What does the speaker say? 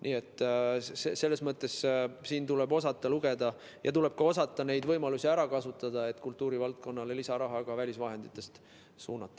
Nii et siin tuleb osata õigesti lugeda ja tuleb osata neid võimalusi ära kasutada, et kultuurivaldkonnale ka välisvahenditest lisaraha suunata.